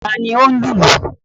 Ta ni ó ń lu ìlù?